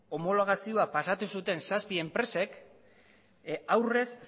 homologazioa pasatu zuten zazpi enpresek aurrez